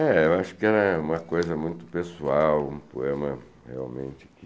É, eu acho que era uma coisa muito pessoal, um poema realmente que...